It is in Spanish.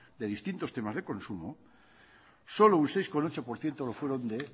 de distintos temas de consumo solo un seis coma ocho por ciento lo fueron de